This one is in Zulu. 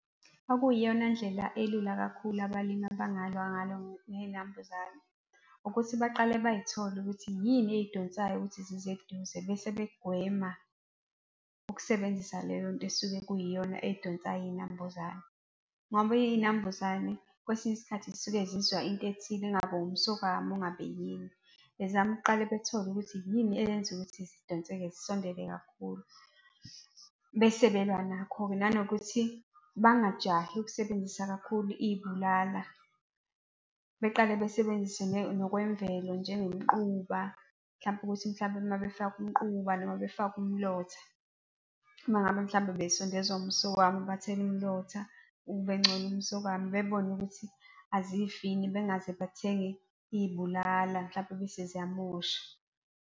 Okuyiyona ndlela elula kakhulu abalimi abangalwa ngalo ngezinambuzane ukuthi baqale bay'thole ukuthi yini ey'donsayo ukuthi zize eduze bese begwema ukusebenzisa leyo nto esuke kuyiyona ey'donsayo izinambuzane. Ngoba iy'nambuzane, kwesinye isikhathi, zisuke zizwa into ethile ingabe umsokwama ingabe yini. Bezame ukuqale bethole ukuthi yini eyenza ukuthi zidonseke zisondele kakhulu, bese belwa nakho-ke. Nanokuthi bangajahi ukusebenzisa kakhulu iy'bulala. Beqale besebenzise nokwemvelo, njengomquba mhlampe ukuthi mhlampe uma befaka umquba noma befaka umlotha. Uma ngabe mhlampe bezisondezwa umsokwama, bathele umlotha ube ngcono umsokwama bebone ukuthi azifi yini, bengaze bathenge izibulala mhlampe bese ziyamosha.